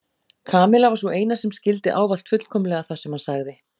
Kamilla var sú eina sem skildi ávallt fullkomlega það sem hann sagði.